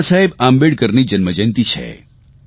બાબાસાહેબ આંબેડકરની જન્મજયંતિ છે